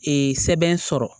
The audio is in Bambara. Ee sɛbɛn sɔrɔ